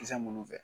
Kisɛ munnu fɛ